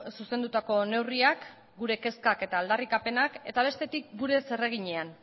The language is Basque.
zuzendutako neurriak gure kezkak eta aldarrikapenak eta bestetik gure zereginean